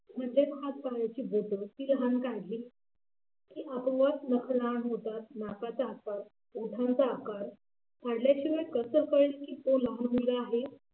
म्हणजे हात पायाची बोटं ती लहान काढली की आपोआप नाकाचा आकार ओठांचा आकार काढल्याशिवाय कसं कळेल की तो लहान मुलगा आहे.